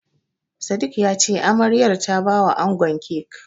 Sadik ya ce Amaryar ta bawa angon kek.